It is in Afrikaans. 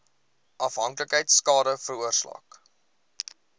afhanklikheid skade veroorsaak